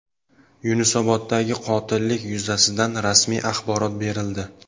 Yunusoboddagi qotillik yuzasidan rasmiy axborot berildi.